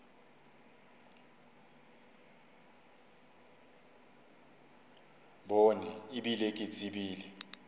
bone e bile ke tsebile